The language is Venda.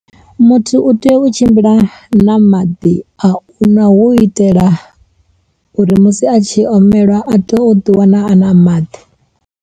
Muthu u tea u tshimbila na maḓi a u ṅwa, hu itela uri musi a tshi omelwa a to o ḓi wana a na maḓi.